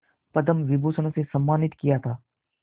पद्म विभूषण से सम्मानित किया था